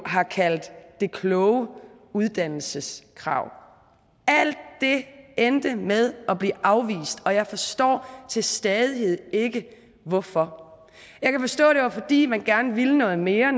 har kaldt det kloge uddannelseskrav alt det endte med at blive afvist og jeg forstår stadig ikke hvorfor jeg kan forstå det var fordi man gerne ville noget mere